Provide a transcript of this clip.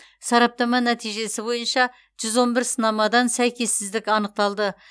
сараптама нәтижесі бойынша жүз он бір сынамадан сәйкессіздік анықталды